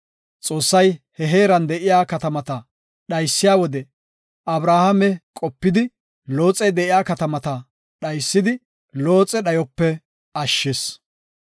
Xoossay he heeran de7iya katamata dhaysiya wode Abrahaame qopidi, Looxey de7iya katamata dhaysidi, Looxe dhayope ashshis.